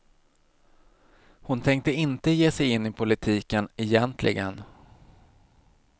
Hon tänkte inte ge sig in i politiken, egentligen.